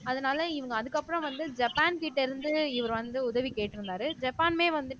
அதனால இவங்க அதுக்கப்புறம் வந்து ஜப்பான் கிட்ட இருந்து இவர் வந்து உதவி கேட்டிருந்தாரு ஜப்பான்மே வந்துட்டு